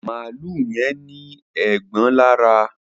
Maalu yén ní Eégbọn lára